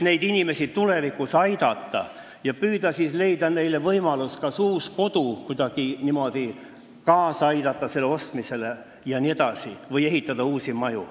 Neid inimesi sooviti tulevikus aidata ja püüda leida neile võimalus uus kodu saada – kas kuidagi kaasa aidata selle ostmisele või uue maja ehitamisele.